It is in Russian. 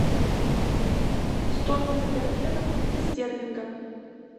стоимость тенге на фунты стерлинга